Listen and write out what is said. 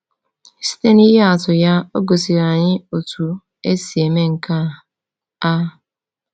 Site n’ihe atụ ya, o gosiri anyị otú e si eme nke a. a.